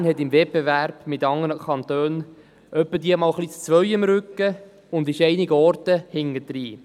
Bern hat im Wettbewerb mit anderen Kantonen ab und zu die Nummer zwei am Rücken und hinkt in manchen Bereichen hinterher.